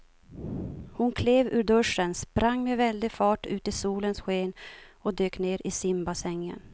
Hon klev ur duschen, sprang med väldig fart ut i solens sken och dök ner i simbassängen.